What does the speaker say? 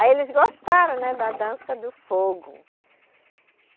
Aí eles gostaram né da dança do fogo.